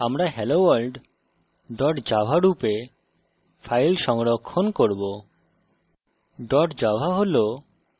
সুতরাং আমরা helloworld dot java রূপে file সংরক্ষণ করব